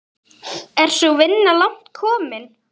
Er sú vinna langt komin.